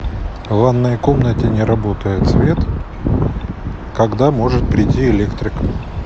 в ванной комнате не работает свет когда может прийти электрик